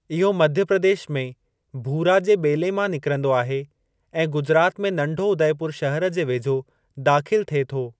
इहो मध्य प्रदेश में भूरा जे ॿेले मां निकिरंदो आहे ऐं गुजरात में नंढो उदयपुरु शहर जे वेझो दाख़िलु थिए थो।